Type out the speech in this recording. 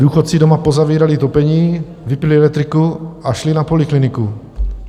Důchodci doma pozavírali topení, vypnuli elektřinu a šli na polikliniku.